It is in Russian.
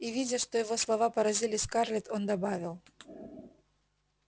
и видя что его слова поразили скарлетт он добавил